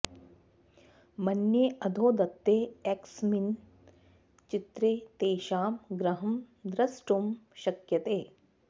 मन्ये अधो दत्ते एकस्मिन् चित्रे तेषां गृहं द्रष्टुं शक्यते